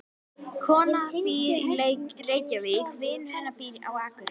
Konan býr í Reykjavík. Vinur hennar býr á Akureyri.